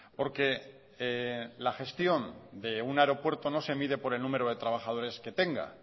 porque la gestión de un aeropuerto no se mide por el número de trabajadores que tenga